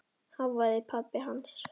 hváði pabbi hans.